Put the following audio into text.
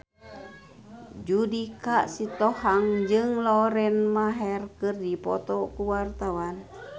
Judika Sitohang jeung Lauren Maher keur dipoto ku wartawan